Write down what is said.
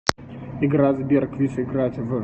игра сбер квиз играть в